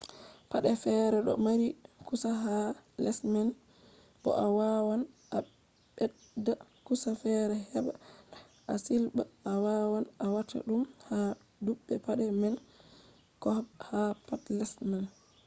paɗe fere ɗo mari kusa ha les man bo a wawan a ɓedda kusa fere heɓa ta a silɓa. a wawan a wata ɗum ha dubbe paɗe man ko ha pat les man